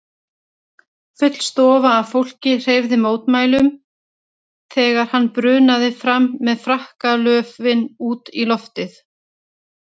Full stofa af fólki hreyfði mótmælum þegar hann brunaði fram með frakkalöfin út í loftið.